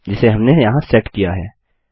जिसे हमने यहाँ सेट किया है